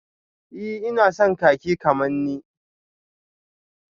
Ee ina son kakin kamanni